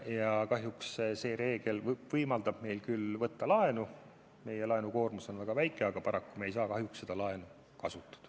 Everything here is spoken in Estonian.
Ja see reegel võimaldab meil küll laenu võtta – meie laenukoormus on väga väike –, aga paraku ei saa me seda laenu kasutada.